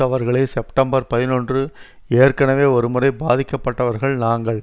அவர்களே செப்டம்பர் பதினொன்று ஏற்கெனவே ஒருமுறை பாதிக்கப்பட்டவர்கள் நாங்கள்